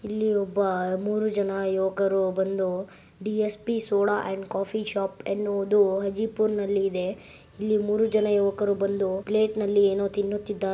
ಇಲ್ಲಿ ಒಬ್ಬ ಮೂರು ಜನ ಯುವಕರು ಬಂದು DSP soda and coffee shop ಎನ್ನುವುದು ಆಜೀಪುರನಲ್ಲಿದೆ ಇಲ್ಲಿ ಮೂರು ಜನ ಯುವಕರು ಬಂದು ಪ್ಲೇಟ್ ನಲ್ಲಿ ಏನೊ ತಿನ್ನುತ್ತಿದ್ದಾರೆ .